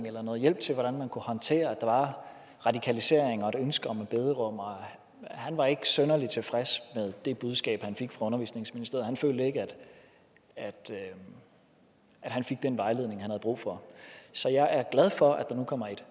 eller noget hjælp til hvordan man kunne håndtere at der var radikalisering og et ønske om et bederum og han var ikke synderlig tilfreds med det budskab han fik fra undervisningsministeriet han følte ikke at han fik den vejledning han havde brug for så jeg er glad for at der nu kommer et